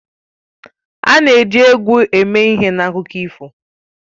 A na-eji egwu eme ihe n'akụkọ ifo